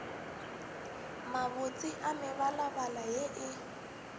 mabotse a mebalabala ye e